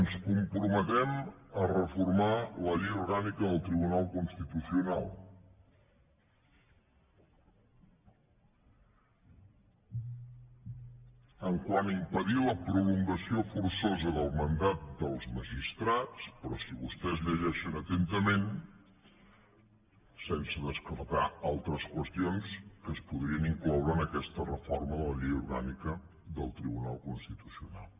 ens comprometem a reformar la llei orgànica del tribunal constitucional quant a impedir la prolongació forçosa del mandat dels magistrats però si vostès llegeixen atentament sense descartar altres qüestions que es podrien incloure en aquesta reforma de la llei orgànica del tribunal constitucional